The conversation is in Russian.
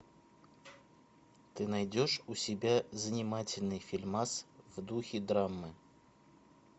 ты найдешь у себя занимательный фильмас в духе драмы